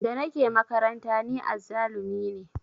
Da nake makaranta ni azzalumi ne